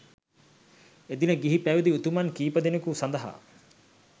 එදින ගිහි පැවිදි උතුමන් කීපදෙනෙකු සඳහා